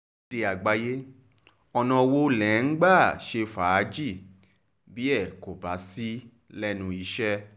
akéde àgbáyé ọ̀nà wo lẹ̀ ń gbà ṣe fàájì bí ẹ kò bá sí lẹ́nu iṣẹ́